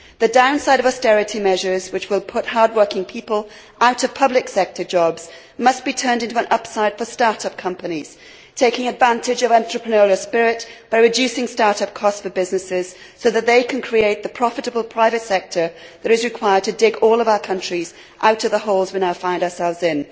The downside of austerity measures, which will put hardworking people out of public sector jobs, must be turned into an upside for start up companies, taking advantage of entrepreneurial spirit by reducing start up costs for businesses so that they can create the profitable private sector that is required to dig all of our countries out of the holes we now find ourselves in.